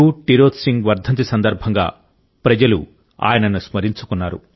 టిరోత్ సింగ్ వర్ధంతి సందర్భంగా ప్రజలు ఆయనను స్మరించుకున్నారు